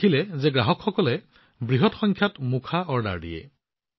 তেওঁ লক্ষ্য কৰিছিল যে গ্ৰাহকসকলে বৃহৎ সংখ্যাত মাস্কৰ অৰ্ডাৰ কৰি আছে